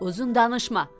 Uzun danışma.